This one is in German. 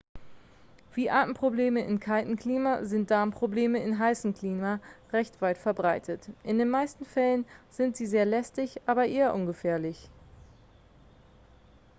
wie atemprobleme in kaltem klima sind darmprobleme in heißem klima recht weit verbreitet in den meisten fällen sind sie sehr lästig aber eher ungefährlich